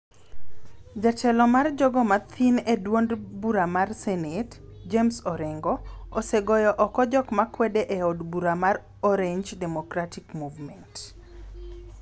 Jatelo mar jogo mathin e duond bura mar Senate, James Orengo, osegoyo oko jok makwede e od bura mar Orange Democratic Movement (ODM),